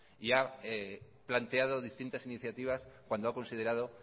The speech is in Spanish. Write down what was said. y ha planteado distintas iniciativas cuando ha considerado